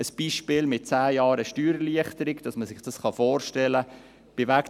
Ein Beispiel mit 10 Jahre Steuererleichterung, damit man sich dies vorstellen kann: